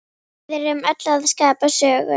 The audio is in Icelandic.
Við erum öll að skapa sögu.